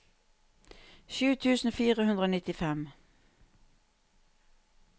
sju tusen fire hundre og nittifem